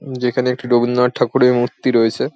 যেখানে একটি রবীন্দ্র নাথ ঠাকুরের মূর্তি রয়েছে ।